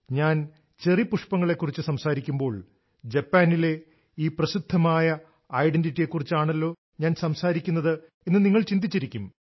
ഞാൻ ചെറി പുഷ്പങ്ങളെക്കുറിച്ച് സംസാരിക്കുമ്പോൾ ജപ്പാനിലെ ഈ പ്രസിദ്ധമായ ഐഡന്റിറ്റിയെക്കുറിച്ചാണല്ലോ ഞാൻ സംസാരിക്കുന്നത് എന്ന് നിങ്ങൾ ചിന്തിച്ചിരിക്കും